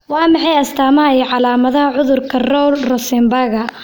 Waa maxay astamaha iyo calaamadaha cudurka Rowle Rosenbaga?